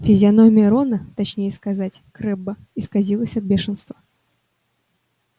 физиономия рона точнее сказать крэбба исказилась от бешенства